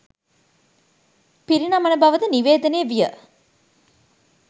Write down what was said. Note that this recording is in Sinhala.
පිරිනමන බවද නිවේදනය විය